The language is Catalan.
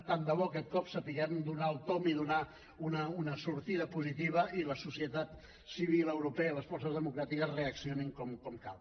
tant de bo aquest cop sapiguem donar hi el tomb i donar una sortida positiva i la societat civil europea i les forces democràtiques reaccionin com cal